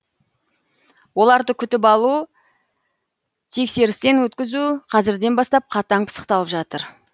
оларды күтіп алу тексерістен өткізу қазірден бастап қатаң пысықталып жатыр